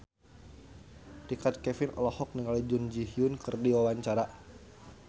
Richard Kevin olohok ningali Jun Ji Hyun keur diwawancara